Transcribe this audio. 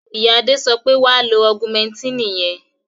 Ìyá Adé sọ pé, "wà á lo augumẹntínì yẹn!".